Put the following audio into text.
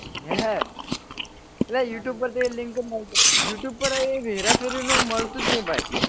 હે અલા youtube પર તો એ link મૂકજે you tube પર હેરા ફેરી નું મળતું જ નહી ભાઈ,